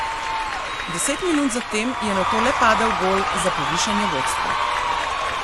Deset minut za tem je nato le padel gol za povišanje vodstva.